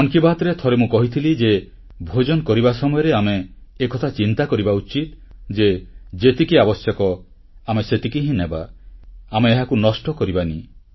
ମନ୍ କି ବାତ୍ରେ ଥରେ ମୁଁ କହିଥିଲି ଯେ ଭୋଜନ କରିବା ସମୟରେ ଆମେ ଏକଥା ଚିନ୍ତା କରିବା ଉଚିତ୍ ଯେ ଯେତିକି ଆବଶ୍ୟକ ଆମେ ସେତିକି ହିଁ ନେବା ଆମେ ଏହାକୁ ନଷ୍ଟ କରିବାନି